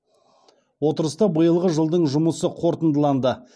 отырыста биылғы жылдың жұмысы қорытындыланды